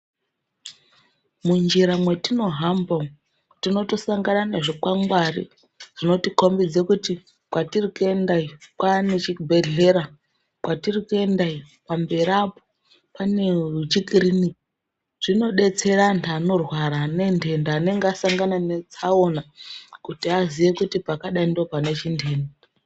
Munjira mwatinohamba umwu tinotosangana nezvikwangwari zvinotikombidze kuti kwatiri kuenda iyo kwanechibhedhlera, kwatiri kuenda iyo pamberi apo pane chikiriniki. Zvinobetsera antu anorwara anenhenda anenge asangana netsaona kuti aziye kuti pakadai ndopane chindani.